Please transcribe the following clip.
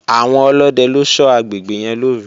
Àwọn ọlódẹ ló ṣọ́ agbègbè yẹn lọ́òru